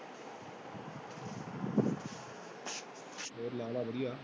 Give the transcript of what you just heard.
ਹੋਰ ਲਾ ਵਧੀਆ।